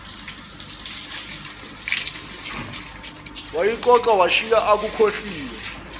wayixoxa washiya akukhohliwe